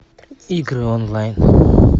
игры онлайн